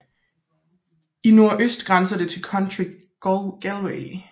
I nordøst grænser det til County Galway